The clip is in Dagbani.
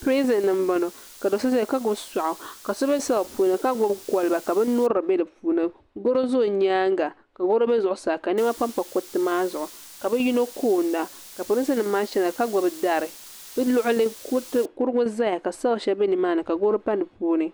Pirizin m boŋɔ ka so zaya ka gbibi soaɣu ka so be selli puuni ka gbibi koliba ka binnyirili be dipuuni garo be o nyaanga goro be zuɣusaa ka niɛma pampa zuɣusaa ka bɛ yino koonda pirinsi nima maa zaya ka gbibi dari di luɣuli kurugu zaya ka shelfu sheli zaya ka goro pa dipuuni.